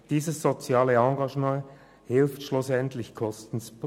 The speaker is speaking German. Das soziale Engagement hilft schliesslich, Kosten zu sparen.